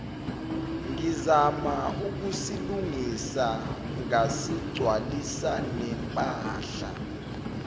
ngizama ukusilungisa ngasigcwalisanempahla